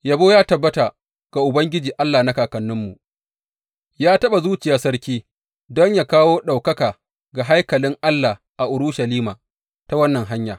Yabo ya tabbata ga Ubangiji Allah na kakanninmu, ya taɓa zuciyar sarki don yă kawo ɗaukaka ga haikalin Allah a Urushalima ta wannan hanya.